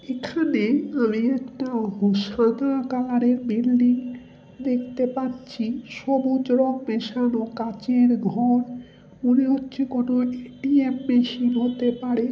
এখানে আমি একটা কালারের বিল্ডিং দেখতে পাচ্ছি সবুজ রং মেশানো কাঁচের ঘর। মনে হচ্ছে কোনো এক টি এমব্যাসি হতে পারে।